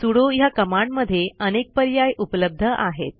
sudo ह्या कमांडमधे अनेक पर्याय उपलब्ध आहेत